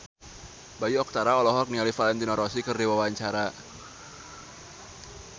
Bayu Octara olohok ningali Valentino Rossi keur diwawancara